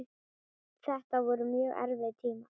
Þetta voru mjög erfiðir tímar.